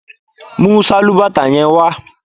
Mú sálúbàtà yẹn wá